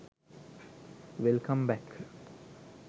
welcome back